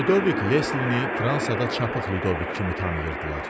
Lüdovik Leslini Fransada çapıqlı Lüdovik kimi tanıyırdılar.